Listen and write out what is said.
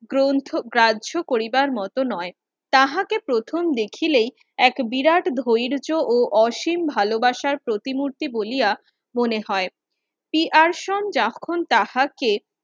গ্রন্থ গ্রাহ্য করিবার মত নয়, তাহাকে প্রথম দেখিলেই এক বিরাট ধৈর্য্য ও অসীম ভালোবাসার প্রতিমূর্তি বলিয়া মনে হয়। পিয়ারসন যখন তাঁহাকে